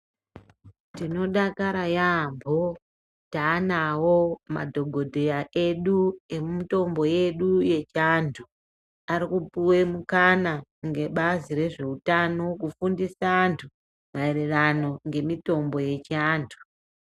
Tinodakara yaamho taanawo madhokodheya edu emutombo yedu yechiantu. Arikupuwe mukana ngebazi rezveutano kufundise antu maererano ngemitombo yechiantu.